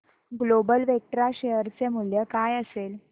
global Vectra share चे मूल्य काय असेल